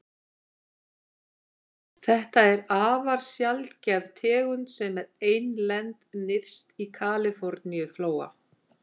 Þetta er afar sjaldgæf tegund sem er einlend nyrst í Kaliforníuflóa.